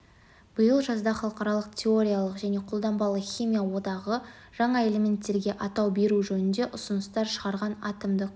биыл жазда халықаралық теориялық және қолданбалы химия одағы жаңа элементтерге атау беру жөнінде ұсыныстар шығарған атомдық